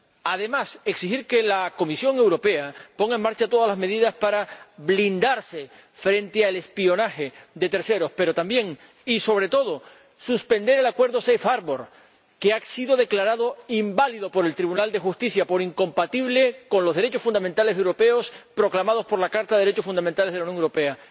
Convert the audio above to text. Además, exigir que la Comisión Europea ponga en marcha todas las medidas para blindarse frente al espionaje de terceros, pero también y, sobre todo, suspender el acuerdo Safe Harbour que ha sido declarado inválido por el Tribunal de Justicia por incompatible con los derechos fundamentales europeos proclamados por la Carta de los Derechos Fundamentales de la Unión Europea.